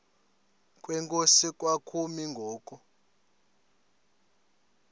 kwenkosi kwakumi ngoku